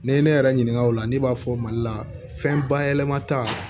N'i ye ne yɛrɛ ɲininka o la ne b'a fɔ mali la fɛn bayɛlɛma ta